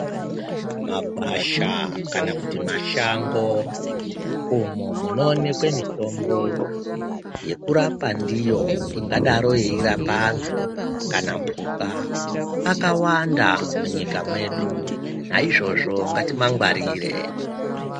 Magwasha kana kuti mashango umo munoonekwe mitombo yekurapa ndiyo ingadaro yairapa antu kana mhuka akawanda munyika medu naizvozvo ngatimangwarire.